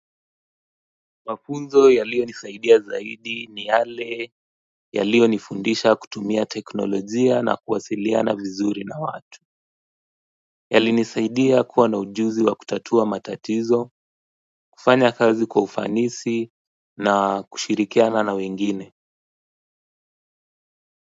Mafunzo yaliyo nisaidia zaidi ni yale yaliyo nifundisha kutumia teknolojia na kuwasiliana vizuri na watu yalinisaidia kuwa na ujuzi wa kutatua matatizo kufanya kazi kwa ufanisi na kushirikiana na wengine.